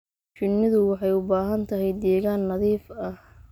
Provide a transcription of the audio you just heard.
Shinnidu waxay u baahan tahay deegaan nadiif ah.